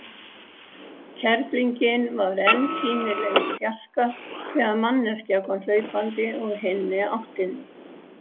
Kerlingin var enn sýnileg í fjarska þegar manneskja kom hlaupandi úr hinni áttinni.